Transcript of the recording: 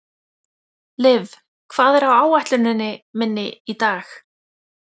Liv, hvað er á áætluninni minni í dag?